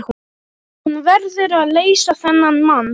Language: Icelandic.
Hún verður að leysa þennan mann.